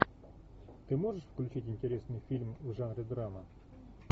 ты можешь включить интересный фильм в жанре драма